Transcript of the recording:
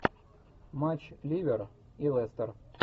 матч ливер и лестер